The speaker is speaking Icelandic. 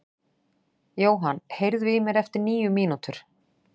Johan, heyrðu í mér eftir níu mínútur.